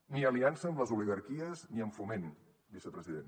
ni aliança amb les oligarquies ni amb foment vicepresident